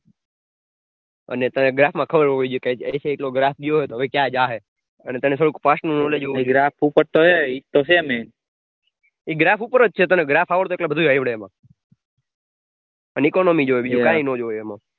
અને તને bank માં ખબર પડી એકલો graph દિયો તો ચ્યાં જાહે અને તને થોડું past નું knowledge હોવું જોઈએ ઈ તો હે ને એ grap ઉપર જ છે તને graph આવડતો હોય એટલે બધું આવડે એમાં. અને echonomy જોઈએ બીજું કઈ ના જોવે.